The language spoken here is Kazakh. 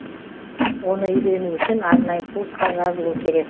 оны үйрену үшін арнайы курсқа жазылу керек